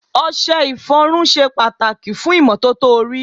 Ọṣẹ ìfọrun ṣe pàtàkì fún ìmọ́tótó orí.